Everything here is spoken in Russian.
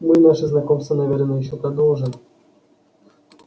мы наше знакомство наверное ещё продолжим